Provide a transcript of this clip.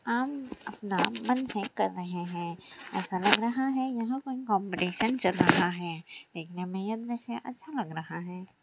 हम अपना मन है कर रहे है ऐसा लग रहा है यहां कोई कॉम्पिटिशन चल रहा है देखने में यह दृश्य अच्छा लग रहा है।